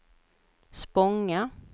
Spånga